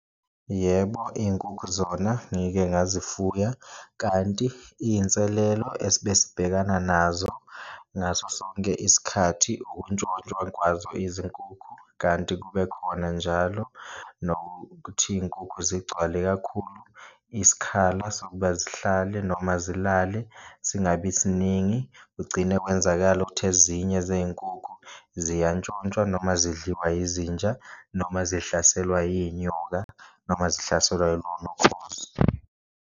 Yebo, iyinkukhu zona ngike ngazifuya kanti iyinselelo esibe sibhekana nazo ngaso sonke isikhathi ukuntshontshwa kwazo izinkukhu, kanti kube khona njalo nokuthi iyinkukhu zigcwale kakhulu isikhala sokuba zihlale noma zilale singabi siningi. Kugcine kwenzakala ukuthi ezinye zeyinkukhu ziyantshontshwa noma zidliwa yizinja noma zihlaselwa iyinyoka, noma zihlaselwa ilona ukhozi.